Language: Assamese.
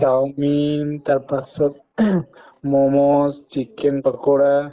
চাওমিন তাৰপাছত মমচ, chicken পাকৰা